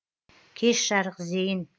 кеш жарық зейін